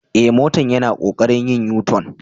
Eh, motan yana kokarin yin U-tun.